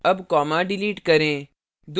अब comma delete करें